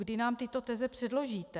Kdy nám tyto teze předložíte?